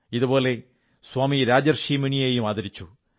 ഇതുപോലെ സ്വാമി രാജർഷി മുനിയെയും ആദരിച്ചു